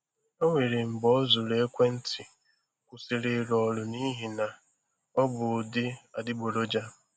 O nwere mgbe ọ zụrụ ekwentị kwụsịrị ịrụ ọrụ n’ihi na ọ bụ ụdị adịgboroja.